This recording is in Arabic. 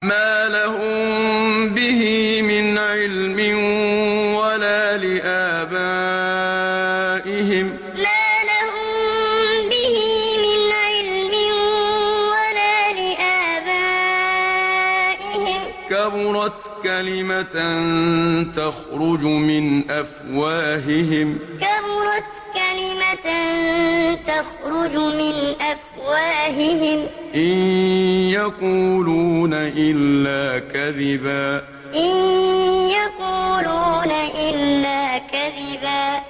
مَّا لَهُم بِهِ مِنْ عِلْمٍ وَلَا لِآبَائِهِمْ ۚ كَبُرَتْ كَلِمَةً تَخْرُجُ مِنْ أَفْوَاهِهِمْ ۚ إِن يَقُولُونَ إِلَّا كَذِبًا مَّا لَهُم بِهِ مِنْ عِلْمٍ وَلَا لِآبَائِهِمْ ۚ كَبُرَتْ كَلِمَةً تَخْرُجُ مِنْ أَفْوَاهِهِمْ ۚ إِن يَقُولُونَ إِلَّا كَذِبًا